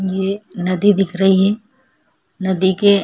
ये नदी दिख रही है नदी के-